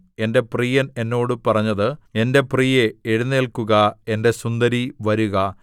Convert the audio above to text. എന്റെ പ്രിയൻ എന്നോട് പറഞ്ഞത് എന്റെ പ്രിയേ എഴുന്നേല്ക്കുക എന്റെ സുന്ദരീ വരുക